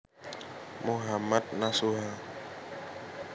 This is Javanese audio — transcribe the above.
Mohammad Nasuha